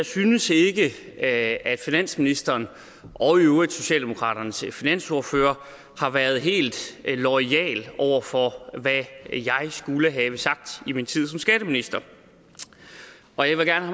synes at finansministeren og i øvrigt socialdemokraternes finansordfører har været helt loyale over for hvad jeg skulle have sagt i min tid som skatteminister og jeg vil gerne